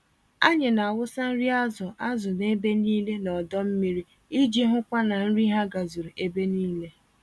Anyị n'awụsa nri azụ azụ n'ebe nílé n'ọdọ mmiri iji hụkwa na nri ha gazuru ebe nílé.